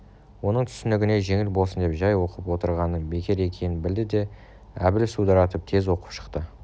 оның түсінігіне жеңіл болсын деп жай оқып отырғанының бекер екенін білді де әбіл судыратып тез оқып шықты